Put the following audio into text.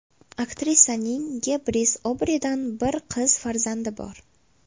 Aktrisaning Gebris Obridan bir qiz farzandi bor.